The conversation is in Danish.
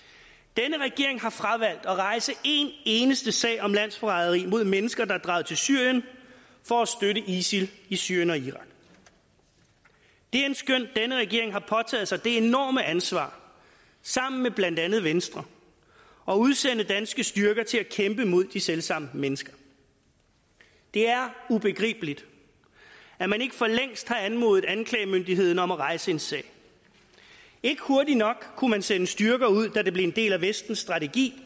denne regering har fravalgt at rejse en eneste sag om landsforræderi mod mennesker der er draget til syrien for at støtte isil i syrien og irak det endskønt denne regering har påtaget sig det enorme ansvar sammen med blandt andet venstre at udsende danske styrker til at kæmpe mod de selv samme mennesker det er ubegribeligt at man ikke for længst har anmodet anklagemyndigheden om at rejse en sag ikke hurtigt nok kunne man sende styrker ud da det blev en del af vestens strategi